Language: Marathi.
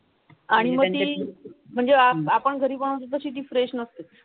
आणि मग ती म्हणजे आपण घरी बनवतो तशी ती फ्रेश नसते.